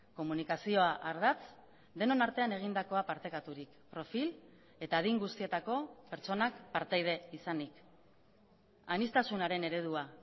komunikazioa ardatz denon artean egindakoa partekaturik profil eta adin guztietako pertsonak partaide izanik aniztasunaren eredua